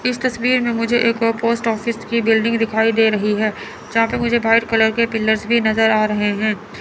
इस तस्वीर में मुझे एक और पोस्ट ऑफिस की बिल्डिंग दिखाई दे रही है जहां पर मुझे व्हाइट कलर के पिलर्स भी नजर आ रहे हैं।